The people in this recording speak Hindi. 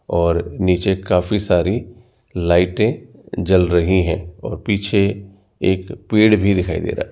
और नीचे काफी सारी लाइटें जल रही है और पीछे एक पेड़ भी दिखाई दे रहा है।